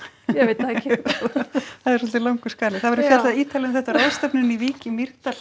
ég veit það ekki það er svolítið langur skali það verður fjallað ítarlega um þetta á ráðstefnunni í Vík í Mýrdal